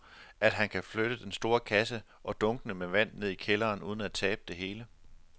Tror du, at han kan flytte den store kasse og dunkene med vand ned i kælderen uden at tabe det hele?